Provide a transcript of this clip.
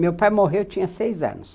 Meu pai morreu, eu tinha seis anos.